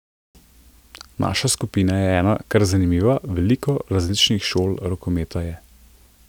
Naša skupina je ena kar zanimiva, veliko različnih šol rokometa je.